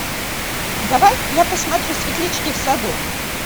давай я посмотрю светлячки в саду